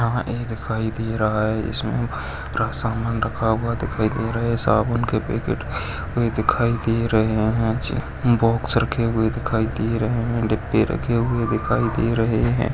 यहा एक स्टोर दिखाई दे रहा है इसमे पूरा सामान रखा हुआ दिखाई दे रहे साबुन के पैकेट भी दिखाई दे रहे है जे कुछ बॉक्स रखे हुए दिखाई दे रहे है डिब्बे रखे हुए दिखाई दे रहे है।